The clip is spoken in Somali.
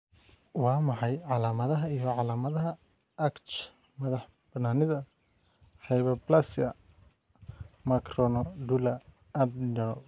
Waa maxay calaamadaha iyo calaamadaha ACTH madax-bannaanida hyperplasia macronodular adrenal?